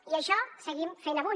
i això seguim fent avui